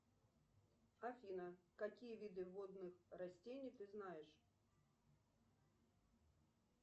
афина какие виды водных растений ты знаешь